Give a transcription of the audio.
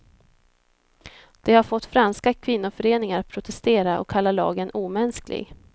Det har fått franska kvinnoföreningar att protestera och kalla lagen omänsklig.